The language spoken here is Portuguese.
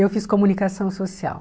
Eu fiz comunicação social.